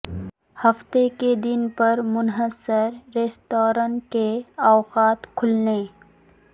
ہفتے کے دن پر منحصر ریستوران کے اوقات کھولنے